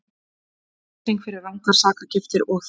Refsing fyrir rangar sakargiftir þyngd